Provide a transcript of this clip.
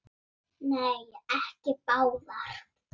Nei, ekki báðar.